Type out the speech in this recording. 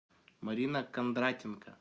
марина кондратенко